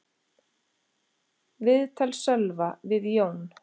Viðtal Sölva við Jón